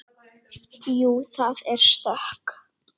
Jú, það er stökk.